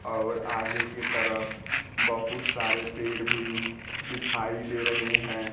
और आगे की तरफ बहुत सारे पेड़ भी दिखाई दे रहे हैं।